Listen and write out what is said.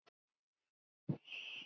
Þar á meðal er ég.